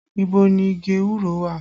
Ibo ni igi ewúro wà?